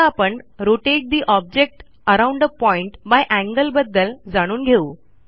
आता आपणRotate the object around a point by angle बद्दल जाणून घेऊ